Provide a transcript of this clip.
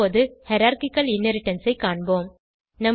இப்போது hierarchical inheritance ஐ காண்போம்